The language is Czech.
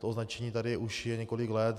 To označení tady už je několik let.